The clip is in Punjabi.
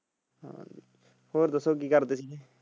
ਹੋਰ ਦਸੋ ਕਿ ਕਰਦੇ ਸੀ?